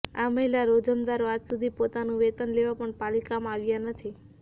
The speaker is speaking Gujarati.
આ મહિલા રોજમદારો આજદિન સુધી પોતાનું વેતન લેવા પણ પાલિકામાં આવ્યા નથી